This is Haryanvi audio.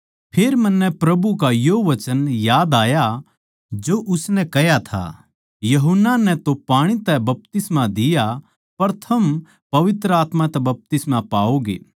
फेर मन्नै प्रभु का यो वचन याद आया जो उसनै कह्या था यूहन्ना नै तो पाणी तै बपतिस्मा दिया पर थम पवित्र आत्मा तै बपतिस्मा पाओगे